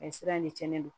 A ye sira de cɛn ne don